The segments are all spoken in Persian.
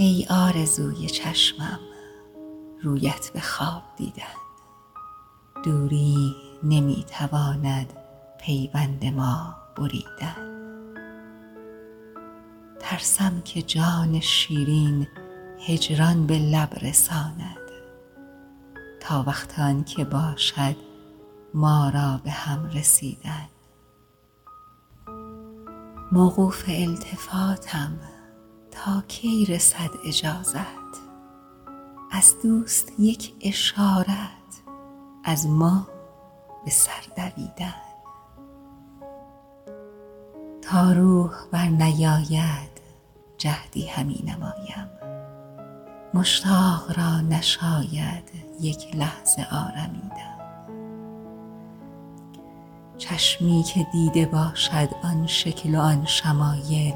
ای آرزوی چشمم رویت به خواب دیدن دوری نمی تواند پیوند ما بریدن ترسم که جان شیرین هجران به لب رساند تا وقت آن که باشد ما را به هم رسیدن موقوف التفاتم تا کی رسد اجازت از دوست یک اشارت از ما به سر دویدن تا روح بر نیاید جهدی همی نمایم مشتاق را نشاید یک لحظه آرمیدن چشمی که دیده باشد آن شکل و آن شمایل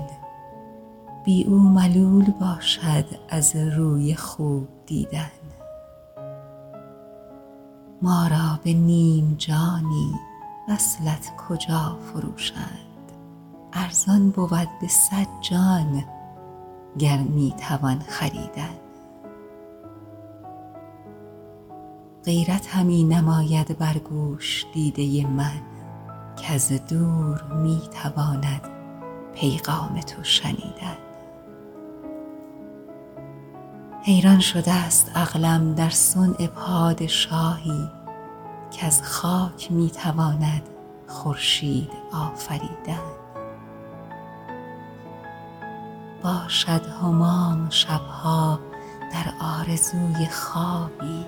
بی او ملول باشد از روی خوب دیدن ما را به نیم جانی وصلت کجا فروشند ارزان بود به صد جان گر می توان خریدن غیرت همی نماید بر گوش دیده من کز دور می تواند پیغام تو شنیدن حیران شده است عقلم در صنع پادشاهی کز خاک می تواند خورشید آفریدن باشد همام شب ها در آرزوی خوابی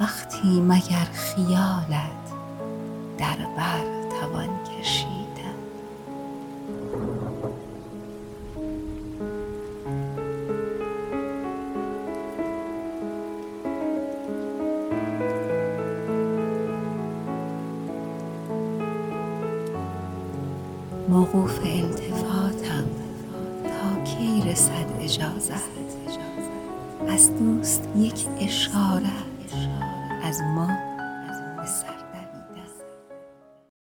وقتی مگر خیالت در بر توان کشیدن